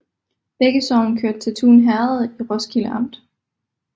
Begge sogne hørte til Tune Herred i Roskilde Amt